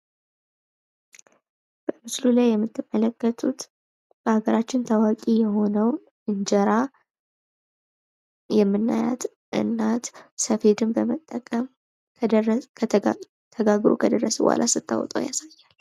በምስሉ ላይ የምትመለከቱት በሀገራችን ታዋቂ የሆነው እንጀራ የምናያት እናት ሰፌድን በመጠቀም ተጋግር ከደረሰ በኋላ ስታወጣው ያሳያል።